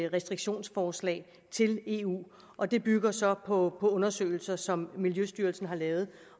restriktionsforslag til eu og det bygger så på undersøgelser som miljøstyrelsen har lavet